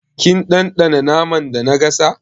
Kin ɗanɗana naman da na gasa?